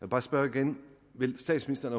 bare spørge igen vil statsministeren